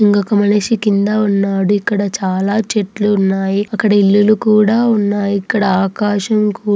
ఇంకొక మనిషి కింద ఉన్నాడు. ఇక్కడ చాలా చెట్లు ఉన్నాయి అక్కడ ఇల్లు కూడా ఉన్నాయి. ఇక్కడ ఆకాశం కూ --